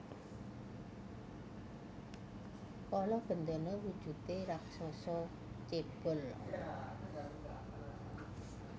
Kala Bendana wujudé raseksa cébol